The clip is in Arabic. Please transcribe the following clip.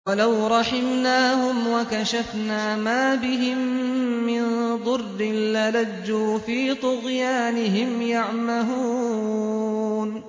۞ وَلَوْ رَحِمْنَاهُمْ وَكَشَفْنَا مَا بِهِم مِّن ضُرٍّ لَّلَجُّوا فِي طُغْيَانِهِمْ يَعْمَهُونَ